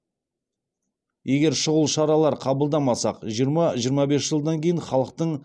егер шұғыл шаралар қабылдамасақ жиырма жиырма бес жылдан кейін халықтың